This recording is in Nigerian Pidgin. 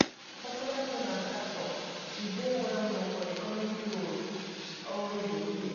popularly known as daso she dey well known for di comedy roles she always dey play